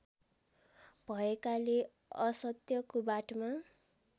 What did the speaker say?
भएकाले असत्यको बाटोमा